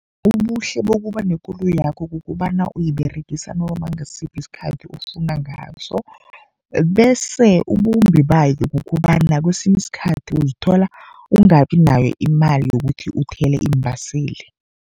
Ubuhle bokuba nekoloyakho, kukobana uyiberegisa noma ngasiphi isikhathi ofuna ngaso. Bese ubumbi bayo kukobana kesinye isikhathi, uzithola ungabi nayo imali yokuthi uthele iimbaseli.